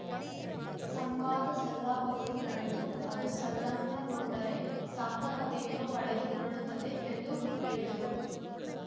ಸಂವಾದ ಸಲ್ಲಾಪಗಳು ನಡೆದು ಅದು ಸಂಲಗ್ನಗೊಂಡರೆ ಸಾರ್ಥಕತೆಯನ್ನು ಪಡೆದುಕೊಳ್ಳುತ್ತದೆ ಎಂದು ಹೇಳಿದರು